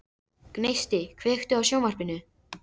Gneisti, kveiktu á sjónvarpinu.